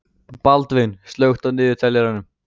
Baldvin, slökktu á niðurteljaranum.